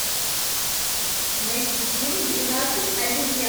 найти фильм двенадцать обезьян